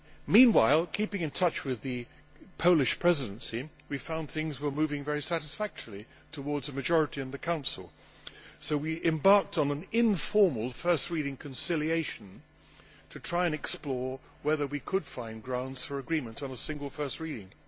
Meanwhile, keeping in touch with the Polish Presidency, we found things were moving very satisfactorily towards a majority in the Council, so we embarked on an informal first reading conciliation to try and explore whether we could find grounds for agreement on a single first reading.